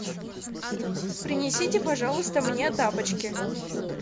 принесите пожалуйста мне тапочки